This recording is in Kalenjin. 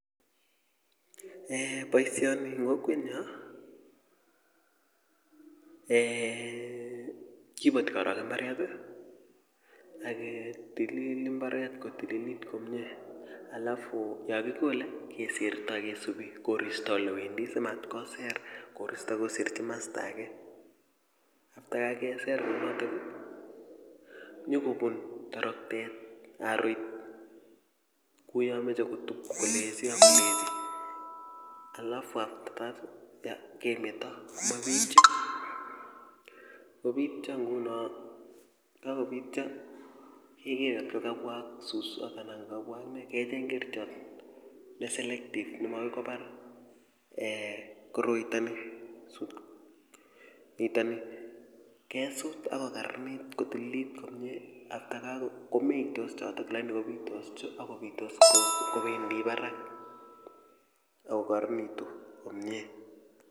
eeh boisioni eng kokwetnyo kiboti korok mbaret aketilil mbaret kapsa koek komye alafu yokikole kesirtoi kesubi koristo olewendi simatkoser koristo koserchin kimasta ake after kakeser nyikobun toroktet haroit kouyo kameche kotup kolechi ak kolechi after that kemeto kobityo nguno yekakobityo iker ngotko kabwa ak suswot anan kobwa ak ne kecheng kerchot ne selective ne makoi kobar koroitoni kesut ako kararanit kotililit komye komeitose chotok akobitose kobendi barak akokararanitu komye